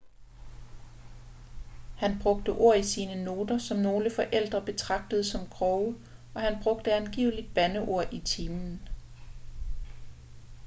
han brugte ord i sine noter som nogle forældre betragtede som grove og han brugte angiveligt bandeord i timen